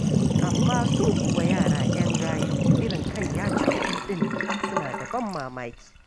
Amma su kuwa yara 'yan gayu irin kai ya ci kuɗi ɗin nan, suna da ban mamaki.